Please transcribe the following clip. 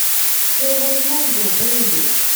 все возможно бейби